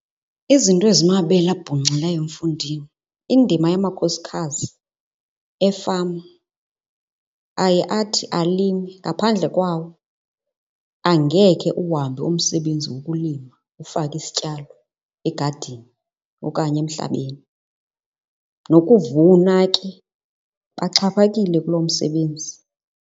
Izinto ezimabele abhunxileyo mfondini, indima yamakhosikazi efama aye athi alime. Ngaphandle kwawo angekhe uhambe umsebenzi wokulima ufake isityalo egadini okanye emhlabeni, nokuvuna ke baxhaphakile kulo msebenzi.